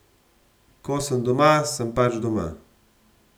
Ko sem doma, sem pač doma.